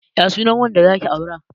Ya sunan wanda zaki aura?